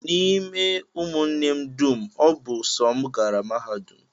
N'ime ụmụnne m dum, ọ bụ sọ m gara mahadum